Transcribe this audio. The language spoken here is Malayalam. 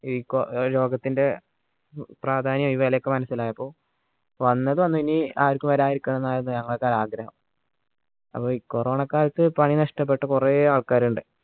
ലോഗത്തിൻറെ പ്രാധാന്യം ഈ വിലയൊക്കെ മനസ്സിലായപ്പോ വന്നത് വന്ന് ഇനി ആർക്കും വരാതിരിക്കാൻ എന്നാണ് ഞങ്ങളുടെ ആഗ്രഹം അപ്പോ ഈ corona കാലത്ത് പണി നഷ്ടപ്പെട്ട കുറേ ആൾക്കാരുണ്ട്